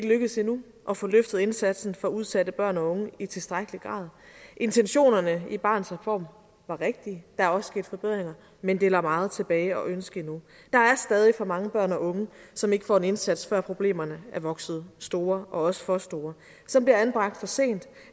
lykkedes endnu at få løftet indsatsen for udsatte børn og unge i tilstrækkelig grad intentionerne i barnets reform var rigtige der er også sket forbedringer men det lader meget tilbage at ønske endnu der er stadig for mange børn og unge som ikke får en indsats før problemerne har vokset store og også for store som bliver anbragt for sent